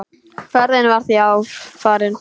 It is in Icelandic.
Ferðin var því farin.